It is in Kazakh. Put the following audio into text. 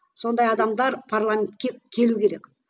сондай адамдар парламентке келу керек